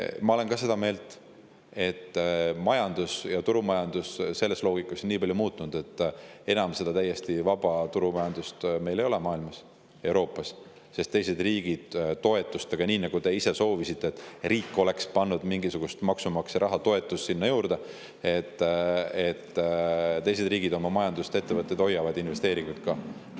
Ma olen ka seda meelt, et majandus ja turumajandus on selles loogikas nii palju muutunud, et täiesti vaba turumajandust enam ei ole maailmas, Euroopas, sest teised riigid toetustega – ka teie soovisite, et riik oleks pannud mingisugust maksumaksja raha, toetust sinna juurde – oma majandust ja ettevõtteid hoiavad, investeeringuid ka.